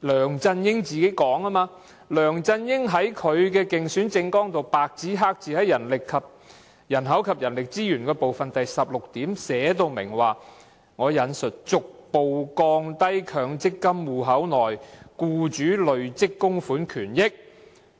梁振英在他的競選政綱"人口及人力資源"部分第16點白紙黑字寫明，"逐步降低強積金戶口內僱主累積供款權益用